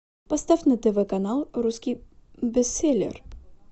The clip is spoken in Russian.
поставь на тв канал русский бестселлер